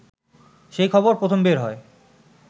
সেই খবর প্রথম বের হয়